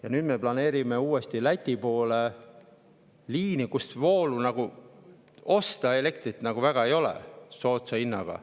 Ja nüüd me planeerime uuesti Läti poole liini, kust ei elektrit väga soodsa hinnaga.